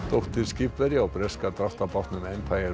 dóttir skipverja á breska dráttarbátnum